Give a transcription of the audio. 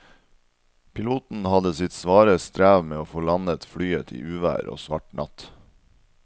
Piloten hadde sitt svare strev med å få landet flyet i uvær og svart natt.